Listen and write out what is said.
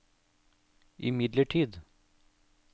imidlertid